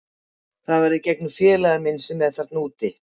Þetta var í gegnum félaga minn sem er þarna úti.